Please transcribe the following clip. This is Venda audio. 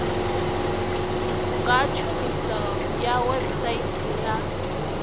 nga tshumiso ya website ya